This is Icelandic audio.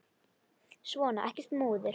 Svona, ekkert múður.